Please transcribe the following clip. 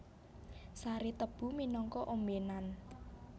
Sari tebu minangka ombènan